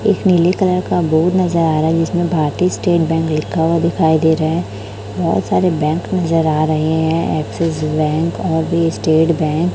एक नीले कलर का बोर्ड नजर आ रहा है जिसमें भारतीय स्टेट बैंक लिखा हुआ दिखाई दे रहा है बहोत सारे बैंक नजर आ रहे है एक्सिस बैंक और भी स्टेट बैंक --